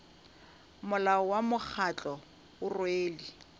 molao wa mokgatlo o rwele